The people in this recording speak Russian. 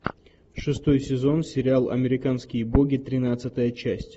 шестой сезон сериал американские боги тринадцатая часть